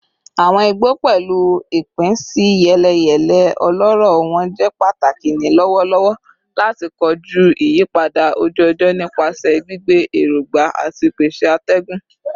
Awọn igbo, pẹlu ipinsiyeleyele ọlọrọ wọn, jẹ pataki ni lọwọlọwọ lati koju iyipada oju-ọjọ nipa gbigbe erogba ati pese atẹgun